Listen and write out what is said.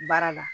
Baara la